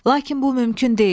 Lakin bu mümkün deyil.